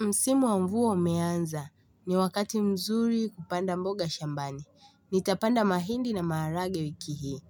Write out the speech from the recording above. Msimu wa mvua umeanza ni wakati mzuri kupanda mboga shambani. Nitapanda mahindi na maharagwe wiki hii